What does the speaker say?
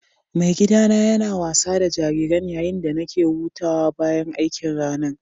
Mai gida na yana wasa da jariran yayin da nake hutawa bayan aikin ranan.